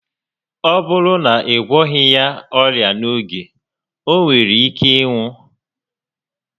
Ọ bụrụ na ị gwọghị ya ọrịa n'oge, o nwere ike ịnwụ